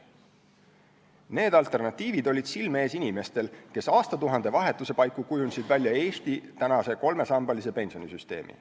Need alternatiivid olid silme ees inimestel, kes aastatuhande vahetuse paiku kujundasid välja Eesti kolmesambalise pensionisüsteemi.